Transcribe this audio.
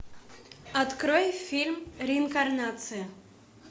открой фильм реинкарнация